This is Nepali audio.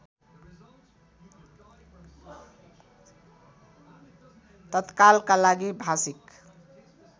तत्कालका लागि भाषिक